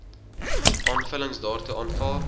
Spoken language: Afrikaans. aanvullings daartoe aanvaar